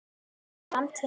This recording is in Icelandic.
Framtíð mín?